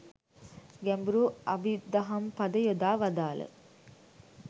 ගැඹුරු අභිදහම්පද යොදා වදාළ